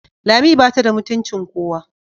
Lami bata da mutuncin kowa.